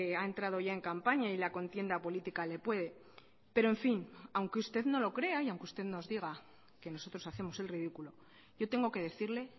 ha entrado ya en campaña y la contienda política le puede pero en fin aunque usted no lo crea y aunque usted nos diga que nosotros hacemos el ridículo yo tengo que decirle